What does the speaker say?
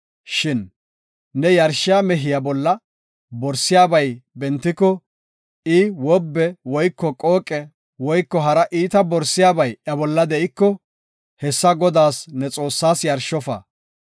Shin ne yarshiya mehiya bolla borsiyabay bentiko, I wobbe woyko qooqe woyko hara iita borisiyabay iya bolla de7iko, hessa Godaas, ne Xoossaas yarshofa.